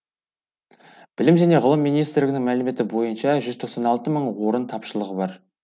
білім және ғылым министрлігінің мәліметі бойынша жүз тоқсан алты мың орын тапшылығы бар